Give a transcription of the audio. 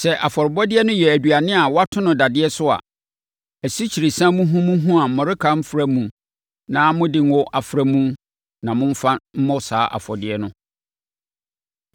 Sɛ afɔrebɔdeɛ no yɛ aduane a wɔato no dadeɛ so a, asikyiresiam muhumuhu a mmɔreka mfra mu na mode ngo afra na momfa mmɔ saa afɔdeɛ no.